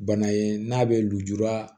Bana ye n'a bɛ lujura